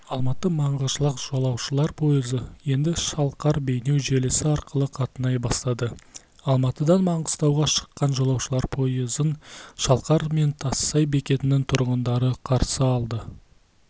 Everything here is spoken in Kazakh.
алматы-маңғышлақ жолаушылар пойызы енді шалқар-бейнеу желісі арқылы қатынай бастады алматыдан маңғыстауға шыққан жолаушылар пойызын шалқар мен тассай бекетінің тұрғындары қарсы алды